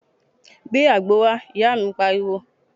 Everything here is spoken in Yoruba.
Gbé àgbo wá, ìyá mi pariwo